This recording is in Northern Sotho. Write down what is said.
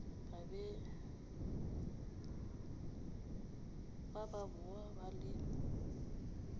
ba ba boa ba le